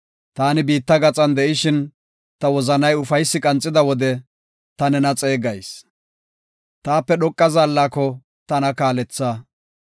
Taani biitta gaxan de7ishin, ta wozanay ufaysi qanxida wode, ta nena xeegayis. Taape dhoqa zaallako, tana kaaletha.